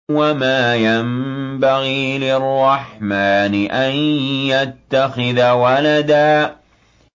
وَمَا يَنبَغِي لِلرَّحْمَٰنِ أَن يَتَّخِذَ وَلَدًا